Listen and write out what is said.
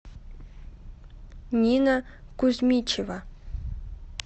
нина кузьмичева